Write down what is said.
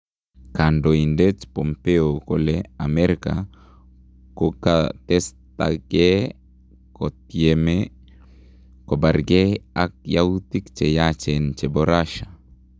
Kandoindet Pompeo kole Amerika kokatestakee kotyeme kobaarkee ak yautik cheyachen chebo Russia.